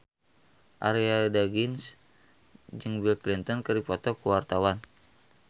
Arie Daginks jeung Bill Clinton keur dipoto ku wartawan